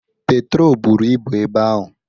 Petro buru ibu ebe ahụ.